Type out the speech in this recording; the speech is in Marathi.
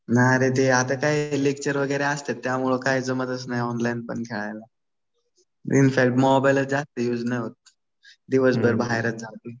नाही रे ते आता काय लेक्चर वगैरे असते त्यामुळे ते जमतच नाही ऑनलाईन पण खेळायला. इनफॅक्ट मोबाईलच जास्त युज नाही होत. दिवसभर बाहेरच जातो.